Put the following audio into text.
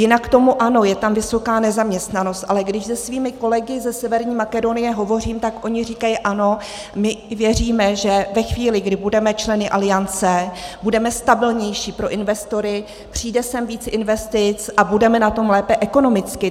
Jinak k tomu - ano, je ta vysoká nezaměstnanost, ale když se svými kolegy ze Severní Makedonie hovořím, tak oni říkají ano, my věříme, že ve chvíli, kdy budeme členy Aliance, budeme stabilnější pro investory, přijde sem víc investic a budeme na tom lépe ekonomicky.